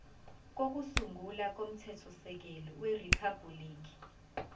kokusungula komthethosisekelo weriphabhuliki